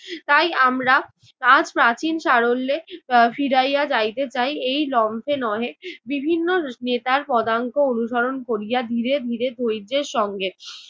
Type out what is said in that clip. তাই আমরা আজ প্রাচীন সারল্যে এর ফিরাইয়া যাইতে চাই এই যন্ত্রে নহে বিভিন্ন নেতার পদাঙ্ক অনুসরণ করিয়া ধীরে ধীরে ধৈর্যের সঙ্গে।